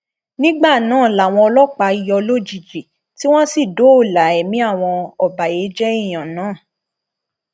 nígbà náà làwọn ọlọpàá yọ lójijì tí wọn sì dóòlà ẹmí àwọn ọbàyéjẹ èèyàn náà